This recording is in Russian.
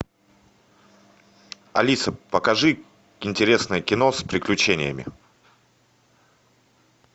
алиса покажи интересное кино с приключениями